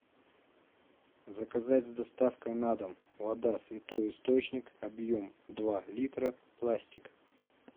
заказать с доставкой на дом вода святой источник объем два литра пластик